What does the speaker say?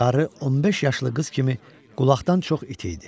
Qarı 15 yaşlı qız kimi qulaqdan çox iti idi.